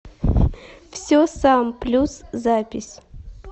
все сам плюс запись